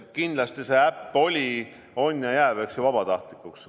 Kindlasti see äpp oli, on ja jääb vabatahtlikuks.